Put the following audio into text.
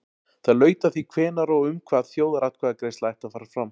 Það laut að því hvenær og um hvað þjóðaratkvæðagreiðsla ætti að fara fram.